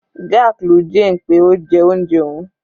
Jack lu Jane pé ó jẹ oúnjẹ òun.